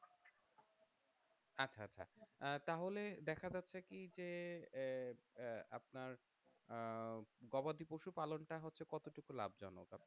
আহ তাহলে দেখা যাচ্ছে কি যে আহ আপনার আহ গবাদিপশু পালন টা হচ্ছে কতটুকু লাভজনক?